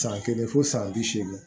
San kelen fo san bi seegin